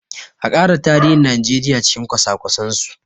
A ƙara tarihin Najeriya cikin kwasa kwasen su!